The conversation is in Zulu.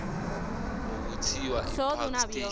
okuthiwa ipark station